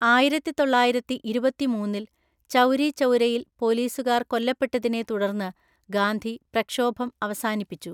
ആയിരത്തിതൊള്ളായിരത്തിഇരുപത്തിമൂന്നില്‍ ചൗരി ചൗരയിൽ പോലീസുകാർ കൊല്ലപ്പെട്ടതിനെ തുടർന്ന് ഗാന്ധി പ്രക്ഷോഭം അവസാനിപ്പിച്ചു.